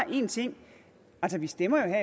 en ting vi stemmer